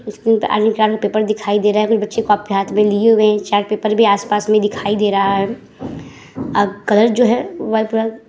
School में paper दिखाई दे रहा हैं। बच्चें हाथ में लिए हुए हैं। चार्ट पेपर भी आस-पास में दिखाई दे रहा है। आ कलर जो है --